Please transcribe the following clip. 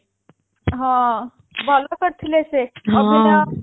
ହଁ ଭଲ କରିଥିଲେ ସେ ଅଭିନୟ